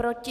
Proti?